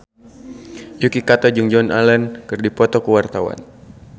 Yuki Kato jeung Joan Allen keur dipoto ku wartawan